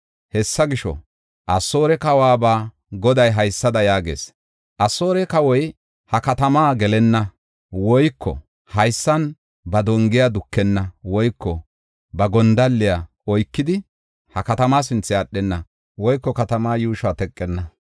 “Hessa gisho, Asoore kawuwaba Goday haysada yaagees. Asoore kawoy ha katamaa gelenna; woyko haysan ba dongiya dukenna; woyko ba gondalliya oykidi, ha katamaa sinthe aadhenna; woyko katamaa yuushuwa teqenna.